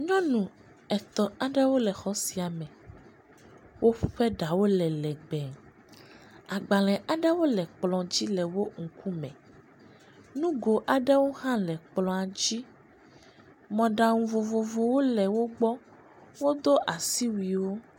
nyɔnu etɔ̃ aɖewo le exɔ sia me wóƒe ɖawo le lɛgbɛ agbalē aɖe le kplɔ̃ dzi le wógbɔ